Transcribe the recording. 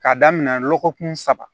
K'a daminɛ lɔgɔkun saba